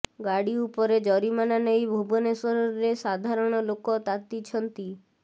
ଗାଡ଼ି ଉପରେ ଜରିମାନା ନେଇ ଭୁବନେଶ୍ବରରେ ସାଧାରଣ ଲେକ ତାତିଛନ୍ତି